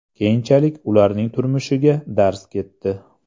Keyinchalik ularning turmushiga darz ketdi.